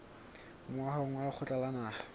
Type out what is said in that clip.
moahong wa lekgotla la naha